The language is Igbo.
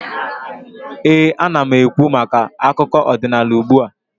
ee, ana m ekwu maka akụkọ ọdịnaala ugbua